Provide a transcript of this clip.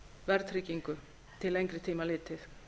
verðtryggingu til lengri tíma litið